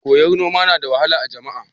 Koyar noma na da wahala a jami'a?